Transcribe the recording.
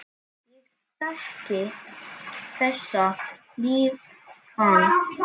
Ég þekki þessa líðan.